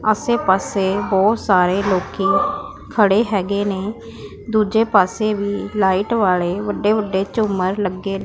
ਆਸੇ ਪਾਸੇ ਬਹੁਤ ਸਾਰੇ ਲੋਕੀ ਖੜੇ ਹੈਗੇ ਨੇ ਦੂਜੇ ਪਾਸੇ ਵੀ ਲਾਈਟ ਵਾਲੇ ਵੱਡੇ ਵੱਡੇ ਝੁੰਮਰ ਲੱਗੇ--